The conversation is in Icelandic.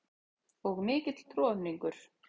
Og mikill troðningur.